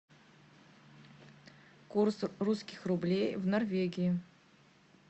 курс русских рублей в норвегии